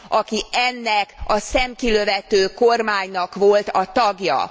aki ennek a szemkilövető kormánynak volt a tagja.